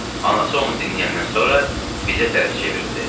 Anası onu dinləyəndən sonra bizə tərəf çevrildi.